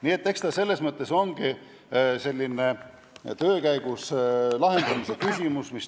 Nii et eks see teema ongi selline töö käigus lahendamise küsimus.